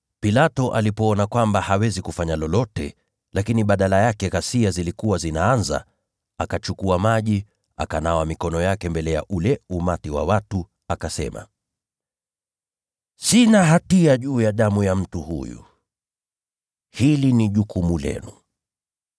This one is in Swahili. Pilato alipoona kwamba hawezi kufanya lolote, lakini badala yake ghasia zilikuwa zinaanza, akachukua maji, akanawa mikono yake mbele ya ule umati wa watu, akasema, “Sina hatia juu ya damu ya mtu huyu, hili ni jukumu lenu!”